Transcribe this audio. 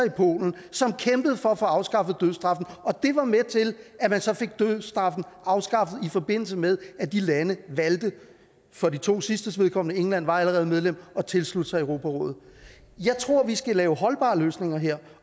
i polen som kæmpede for at få afskaffet dødsstraffen og det var med til at man så fik dødsstraffen afskaffet i forbindelse med at de lande valgte for de to sidstes vedkommende england var allerede medlem at tilslutte sig europarådet jeg tror at vi skal lave holdbare løsninger her